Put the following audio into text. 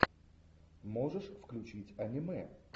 можешь включить аниме